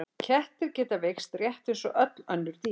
Kettir geta veikst rétt eins og öll önnur dýr.